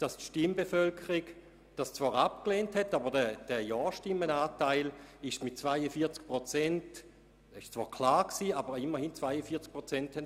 Die Stimmbevölkerung lehnte dies zwar ab, aber der Ja-Stimmen-Anteil betrug immerhin 42 Prozent.